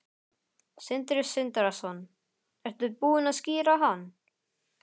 Sindri Sindrason: Ertu búin að skíra hann?